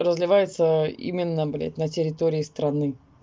разливается именно блядь на территории страны